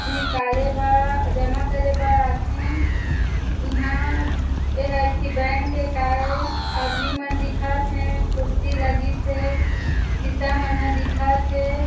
निकाले बा जमा करे बर आथे इहा एहा एक ठी बैंक ए काए आदमी मन दिखत हे कुर्सी लगिस हे